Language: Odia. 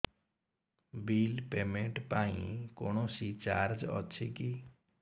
ବିଲ୍ ପେମେଣ୍ଟ ପାଇଁ କୌଣସି ଚାର୍ଜ ଅଛି କି